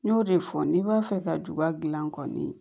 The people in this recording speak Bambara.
N y'o de fɔ n'i b'a fɛ ka juba gilan kɔni